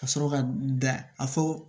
Ka sɔrɔ ka da a fɔ